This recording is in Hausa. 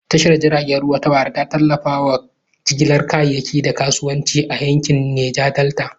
Tashar jiragen ruwa ta Warri ta tallafa wa jigilar kayayyaki da kasuwanci a yankin Neja Delta.